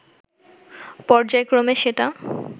পর্যায়ক্রমে সেটা